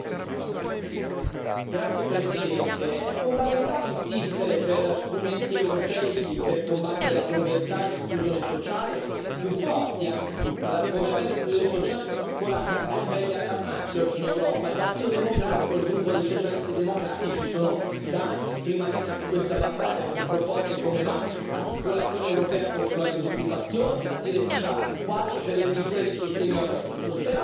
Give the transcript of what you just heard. Signora Presidente, onorevoli colleghi, è fondamentale insistere per strumenti europei per combattere la povertà e l'esclusione sociale più forti. La povertà e l'esclusione sociale sono ancora a livelli allarmanti oggi in Europa. Il Partito Democratico, il gruppo dei Socialisti e Democratici sono da anni in prima linea su questa battaglia con proposte come l'assicurazione europea contro la disoccupazione, la direttiva quadro per le misure di sostegno al reddito.